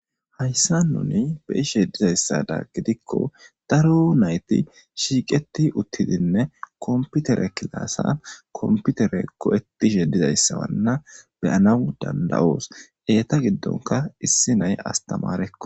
Hayssan nuni be'ishe dizayssadan gidikko daro nayti shiiqeti uttidinne kompitere kilasan kompitere go'etishe dizayssa waanna be'anaw danda'os. Eta giddonkka issi naya astamarekko.